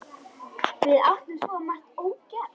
Við áttum svo margt ógert.